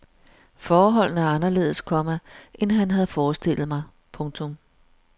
Forholdene er anderledes, komma end han havde forestillet mig. punktum